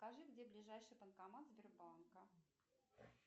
скажи где ближайший банкомат сбербанка